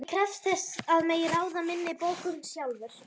Ég krefst þess að mega ráða minni bókun sjálfur.